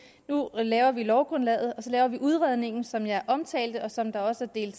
nu laver vi lovgrundlaget og så laver vi udredningen som jeg omtalte og som der også er